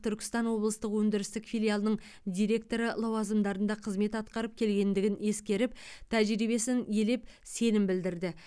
түркістан облыстық өндірістік филиалының директоры лауазымдарында қызмет атқарып келгендігін ескеріп тәжірибесін елеп сенім білдірді